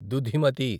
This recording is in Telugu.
దుధిమతి